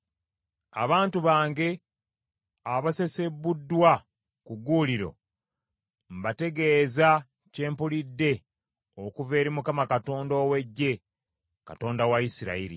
Abantu bange, abasesebbuddwa ku gguuliro, mbategeeza kyempulidde okuva eri Mukama Katonda ow’Eggye, Katonda wa Isirayiri.